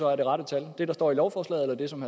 er det rette tal det der står i lovforslaget eller det som